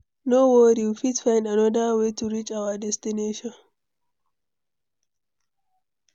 No worry, we fit find anoda way to reach our destination.